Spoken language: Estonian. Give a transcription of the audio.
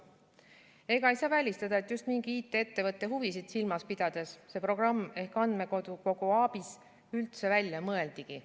Ega ei saa välistada, et just mingi IT-ettevõtte huvisid silmas pidades see programm ehk andmekogu ABIS üldse välja mõeldigi.